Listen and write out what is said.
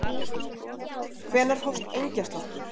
Hvenær hófst engjasláttur?